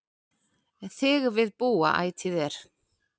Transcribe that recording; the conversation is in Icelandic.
Þig við búa ætíð er